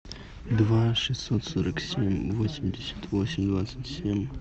два шестьсот сорок семь восемьдесят восемь двадцать семь